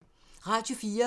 Radio 4